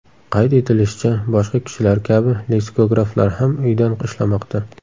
Qayd etilishicha, boshqa kishilar kabi leksikograflar ham uydan ishlamoqda.